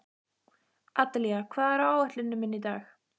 Adelía, hvað er á áætluninni minni í dag?